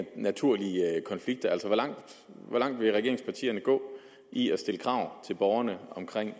naturlige konflikter hvor langt vil regeringspartierne gå i at stille krav til borgerne omkring